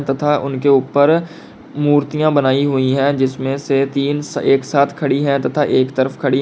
तथा उनके ऊपर मूर्तियां बनाई हुई है जिसमें से तीन एक साथ खड़ी है तथा एक तरफ खड़ी--